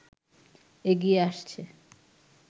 এগিয়ে আসছে